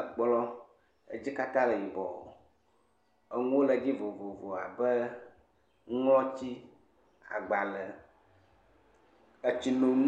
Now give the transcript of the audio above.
Ekplɔ, edzi katã le yibɔ, enuwo le edzi vovovoa ƒe nuŋlɔti agbalẽ, etsinonu,